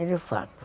É de fato.